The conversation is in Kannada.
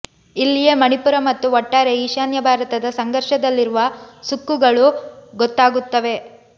ಇಲ್ಲಿಯೇ ಮಣಿಪುರ ಮತ್ತು ಒಟ್ಟಾರೆ ಈಶಾನ್ಯ ಭಾರತದ ಸಂಘರ್ಷದಲ್ಲಿರುವ ಸುಕ್ಕುಗಳು ಗೊತ್ತಾಗುತ್ತವೆ